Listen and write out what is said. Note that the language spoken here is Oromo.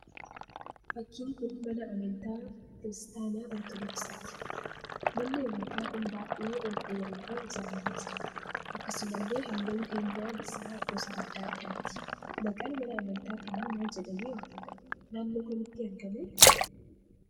Fakkiin kun mana amantaa kiristaanaa 'Ortodoksiiti'. Manni amantaa kun baay'ee ol dheeratee ijaaramee jira. Akkasumallee halluun keenyan isaa gosa adda addaati. maqaan mana amantaa kanaa maal jedhamee waamamaa?, Naannoo kamittti argamaa?